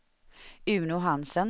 Uno Hansen